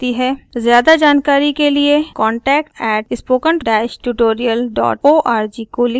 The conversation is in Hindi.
ज्यादा जानकारी के लिए contact@spokentutorialorg को लिखें